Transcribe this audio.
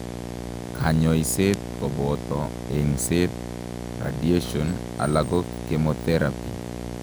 Kanyoiseet kobooto eng'seet, radiation alako chemothrepy